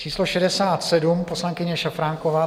Číslo 67 - poslankyně Šafránková.